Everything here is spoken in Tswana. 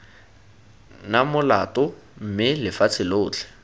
na molato mme lefatshe lotlhe